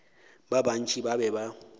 ba bantši ba be ba